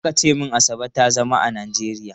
Aka ce min Asa ba ta zama a Najeriya.